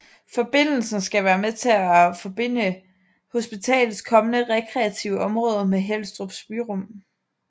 Forbindelsen skal være med til at forbinde hospitalets kommende rekreative område med Helstrups byrum